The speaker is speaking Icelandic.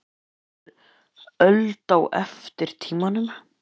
Finnst Ítalir öld á eftir tímanum.